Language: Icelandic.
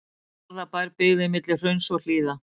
Garðabær, byggð milli hrauns og hlíða.